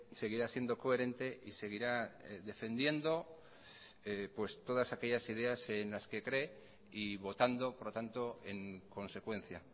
seguirá siendo coherente y seguirá defendiendo pues todas aquellas ideas en las que cree y votando por lo tanto en consecuencia